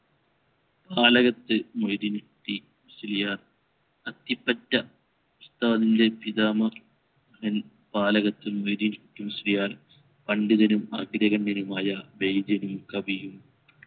നാലകത്ത് മൊയ്‌ദീൻ കുട്ടി മുസ്ലിയാർ അത്തിപ്പറ്റ ഉസ്താദിൻറെ പിതാമകൻ നാലകത്ത് മൊയ്‌ദീൻ കുട്ടി മുസ്ലിയാർ പണ്ഡിതനും അഗ്രഗണ്യനുമായ വൈദ്യനും കവിയും